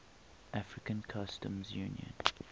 african customs union